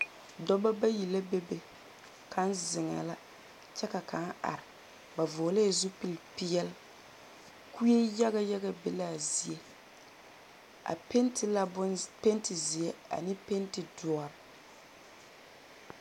Dͻbͻ bayi la a bebe kaŋ zeŋԑԑ la kyԑ ka kaŋ are. ba vͻgelԑԑ zupili peԑle. Kue yaga yaga be la a zie. A penti la bonze penti zeԑ ane penti dõͻre.